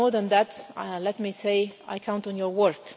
But more than that, let me say, I count on your work.